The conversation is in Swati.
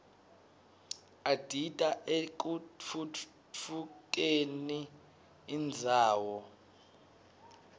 adita ekutfutfukderi irdzawo